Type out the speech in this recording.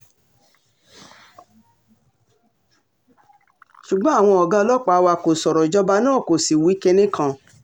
ṣùgbọ́n àwọn ọ̀gá ọlọ́pàá wa kò sọ̀rọ̀ ìjọba náà kó sì wí kinní kan